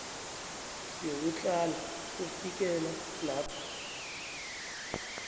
yokutlhala kufikela lapha